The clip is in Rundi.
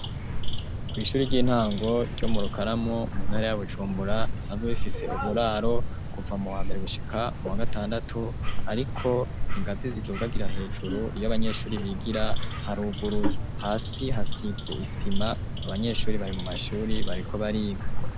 Kw'ishuri ry'intango ryo mu Rukaramu mu ntare ya Bujumbura ,risanzwe rifise uburaro kuva mu wa mbere gushika mu gatandatu, ariko ingazi zitugabura, hejuru iyo abanyeshuri bigira haruguruye, hasi hasize isima. Abanyeshuri bari mu mashuri bariko bariga.